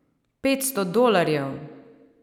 Petsto dolarjev!